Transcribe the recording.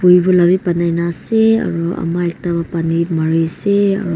vivo la bi banai na ase aro ama ekta pa pani mariase aro.